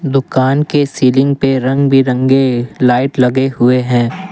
दुकान के सीलिंग पे रंग बिरंगे लाइट लगे हुए हैं।